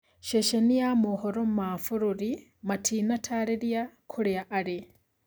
Ceceni ya mohoro ma bũrũri matinatarĩria kũrĩa arĩ.